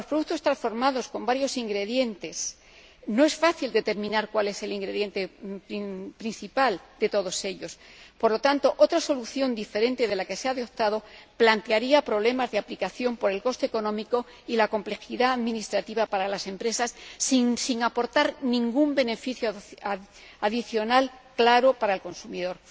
En cuanto a los productos transformados con varios ingredientes, no es fácil determinar cuál es el ingrediente principal de todos ellos. Por lo tanto, otra solución diferente de la que se ha adoptado plantearía problemas de aplicación por el coste económico y la complejidad administrativa para las empresas, sin aportar ningún beneficio adicional claro para el consumidor.